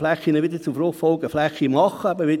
für Verkehrsinfrastrukturen durchgeführt werden kann.